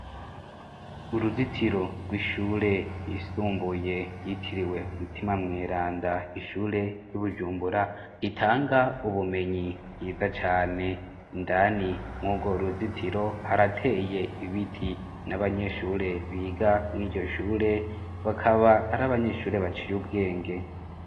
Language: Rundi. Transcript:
Uruzitiro rw'ishure yisumbuye yitiriwe umutima mweranda ishure ry'ubujumbura ritanga ubumenyi bwiza cane indani mwugo uruzitiro harateye ibiti n'abanyeshure biga mw iryo shure bakaba ari abanyeshure baciwewe ubwenge.